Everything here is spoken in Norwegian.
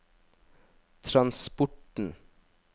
transporten